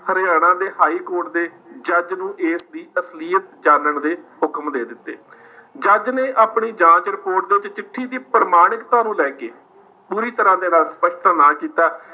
ਹਰਿਆਣਾ ਦੇ ਹਾਈਕੋਰਟ ਦੇ ਜੱਜ ਨੂੰ ਇਸਦੀ ਅਸਲੀਅਤ ਜਾਨਣ ਦੇ ਹੁਕਮ ਦੇ ਦਿੱਤੇ ਜੱਜ ਨੇ ਆਪਣੀ ਜਾਂਚ report ਦੇ ਵਿੱਚ ਚਿੱਠੀ ਦੀ ਪ੍ਰਮਾਣਿਕਤਾ ਨੂੰ ਲੇ ਕੇ ਪੂਰੀ ਤਰ੍ਹਾਂ ਦੇ ਨਾਲ ਸਪਸ਼ਟ ਨਾ ਕੀਤਾ,